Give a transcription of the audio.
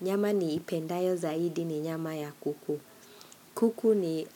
Nyama niipendayo zaidi ni nyama ya kuku. Kuku ni